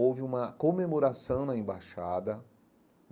Houve uma comemoração na Embaixada.